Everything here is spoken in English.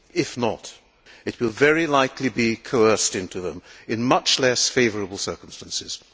If not, it will very likely be coerced into them in much less favourable circumstances.